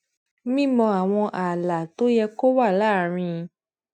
mímọ àwọn ààlà tó yẹ kó wà láàárín